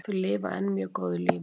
Þau lifa enn mjög góðu lífi